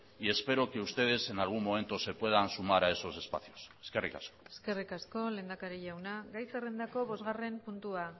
y espero que ustedes en algún momento se puedan sumar a esos espacios eskerrik asko eskerrik asko lehendakari jauna gai zerrendako bosgarren puntua